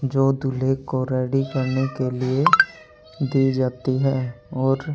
जो दूल्हे को रेडी करने के लिए दी जाती है और--